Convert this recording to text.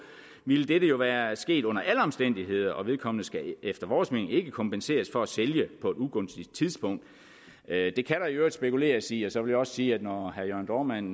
ville dette jo være sket under alle omstændigheder og vedkommende skal efter vores mening ikke kompenseres for at sælge på et ugunstigt tidspunkt det kan der i øvrigt spekuleres i og så vil jeg også sige at når herre jørn dohrmann